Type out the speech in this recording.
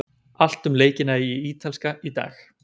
Allt um leikina í Ítalska í dag.